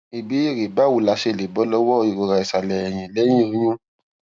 ìbéèrè báwo la ṣe lè bọ lọwọ ìrora ìsàlẹ ẹyìn lẹyìn oyún